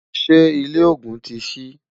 ṣé ilé ògún tí sí?